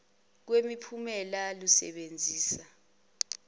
kwemi phumela lusebenzisa